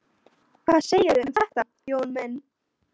Hvað segirðu um þetta, Jón minn?